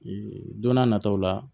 Ee don n'a nataw la